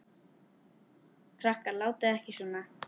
Krakkar látiði ekki svona!